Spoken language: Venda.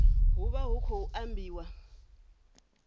hu vha hu khou ambiwa